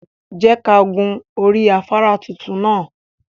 Je ka hun ori afara titun naa